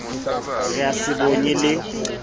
re a se bonye le